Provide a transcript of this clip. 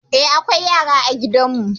Eh, akwai yara a gidan mu.